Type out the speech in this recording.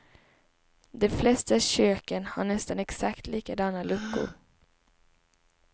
De flesta köken har nästan exakt likadana luckor.